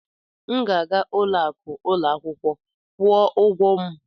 Aga m aga n'ụlọ akụ ụlọ akwụkwọ kwụọ ụgwọ m.